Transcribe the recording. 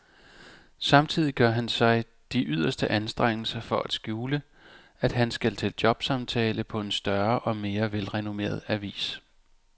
Samtidig gør han sig de yderste anstrengelser for at skjule, at han skal til jobsamtale på en større og mere velrenommeret avis.